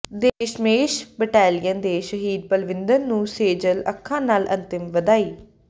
Dashmesh battalion ਦੇ ਸ਼ਹੀਦ ਪਲਵਿੰਦਰ ਨੂੰ ਸੇਜਲ ਅੱਖਾਂ ਨਾਲ ਅੰਤਮ ਵਿਦਾਈ